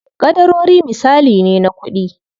Ƙadarori misali ne na kuɗi.